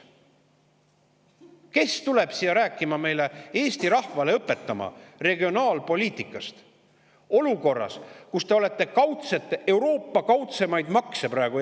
Kes tuleb siia meile rääkima regionaalpoliitikast ja seda Eesti rahvale õpetama, olukorras, kus te kehtestate praegu Eestis Euroopa kaudsemaid makse?